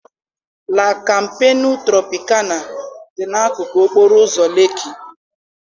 La Kampenu Tropịkana dị n'akụkụ okporo ụzọ Lekki.